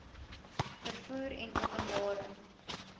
vervoer en openbare